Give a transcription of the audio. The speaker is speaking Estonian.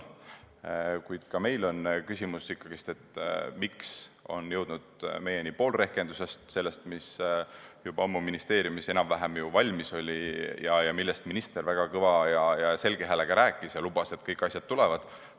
Kuid meil on küsimus, miks on jõudnud meieni ikkagi ainult pool rehkendusest – sellest, mis oli juba ammu ministeeriumis enam-vähem valmis ja millest minister väga kõva selge häälega rääkis, lubades, et kõik asjad tulevad.